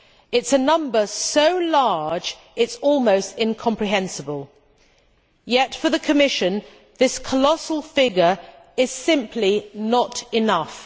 It is a number so large that it is almost incomprehensible. Yet, for the Commission this colossal figure is simply not enough.